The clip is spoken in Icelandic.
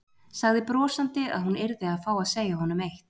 Sagði brosandi að hún yrði að fá að segja honum eitt.